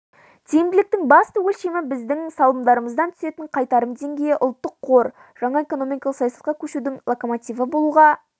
тиімділіктің басты өлшемі біздің салымдарымыздан түсетін қайтарым деңгейі ұлттық қор жаңа экономикалық саясатқа көшудің локомотиві болуға